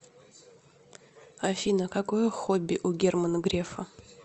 афина какое хобби у германа грефа